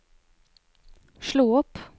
slå opp